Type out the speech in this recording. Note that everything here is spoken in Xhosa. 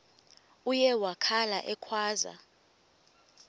uye wakhala ekhwaza